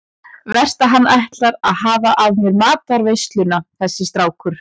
Verst ef hann ætlar að hafa af mér matarveisluna þessi strákur.